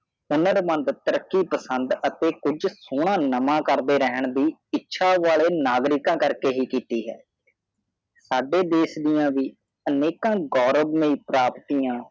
ਤਾਰਿਕੀ ਪਾਸਦ ਆਤੇ ਕੁਛ ਸੂਨਾ ਨਵਵਾ ਕਰਾੜੇ ਰੇਹਾਨ ਦੀਈ ਇਛਾ ਵਾਲੇ ਨਿਗਰਿਕਾ ਕਾਰ ਕੇ ਹੀ ਕਿਤੀ ਹੈ ਸਾਡੇ ਦੇਸ ਦੀਆ ਵਿ ਅਨਿਕਾ ਗੌਰਵ ਲੀਏ ਪ੍ਰਪਤੀਆ